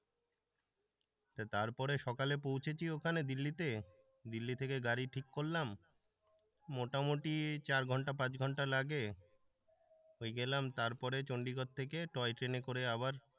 তারপরে সকালে পৌঁছেছি ওখানে দিল্লিতে, দিল্লি থেকে গাড়ি ঠিক করলাম মোটামুটি চার ঘন্টা পাঁচ ঘন্টা লাগে ওই গেলাম তারপরে চন্ডিগড় থেকে টয় ট্রেনে করে আবার,